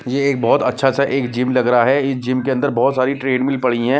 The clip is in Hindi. ये एक बहुत अच्छा सा एक जिम लग रहा है इस जिम के अंदर बहुत सारी ट्रेडमिल पड़ी है।